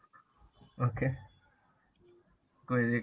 okay.